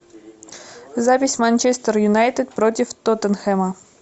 запись манчестер юнайтед против тоттенхэма